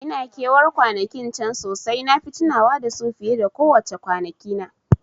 Ina ke war kwanakin can sosai, nafi tunawa da su fiye ko wace kwana kina